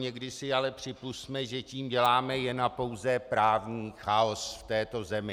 Někdy si ale připusťme, že tím děláme jen a pouze právní chaos v této zemi.